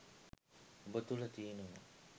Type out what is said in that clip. ඔබ තුළ තියෙනවා